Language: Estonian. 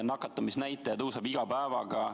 Nakatumisnäitaja tõuseb iga päevaga.